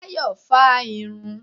Táyọ́ fá á irun.